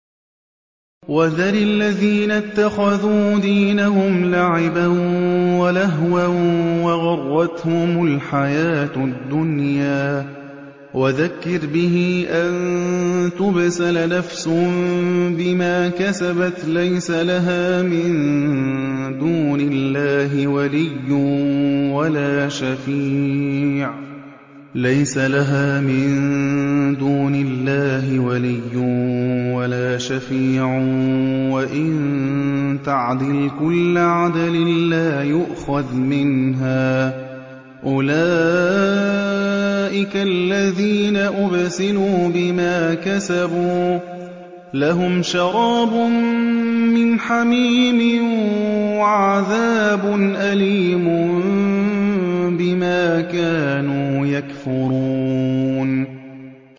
وَذَرِ الَّذِينَ اتَّخَذُوا دِينَهُمْ لَعِبًا وَلَهْوًا وَغَرَّتْهُمُ الْحَيَاةُ الدُّنْيَا ۚ وَذَكِّرْ بِهِ أَن تُبْسَلَ نَفْسٌ بِمَا كَسَبَتْ لَيْسَ لَهَا مِن دُونِ اللَّهِ وَلِيٌّ وَلَا شَفِيعٌ وَإِن تَعْدِلْ كُلَّ عَدْلٍ لَّا يُؤْخَذْ مِنْهَا ۗ أُولَٰئِكَ الَّذِينَ أُبْسِلُوا بِمَا كَسَبُوا ۖ لَهُمْ شَرَابٌ مِّنْ حَمِيمٍ وَعَذَابٌ أَلِيمٌ بِمَا كَانُوا يَكْفُرُونَ